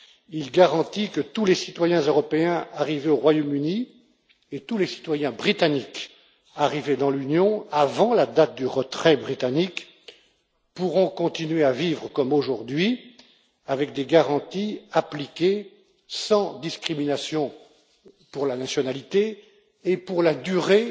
Il garantit que tous les citoyens européens arrivés au Royaume Uni et tous les citoyens britanniques arrivés dans l'Union avant la date du retrait britannique pourront continuer à vivre comme aujourd'hui avec des garanties appliquées sans discrimination pour la nationalité et pour la durée